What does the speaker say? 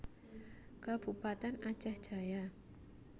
Kabupatèn Aceh Jaya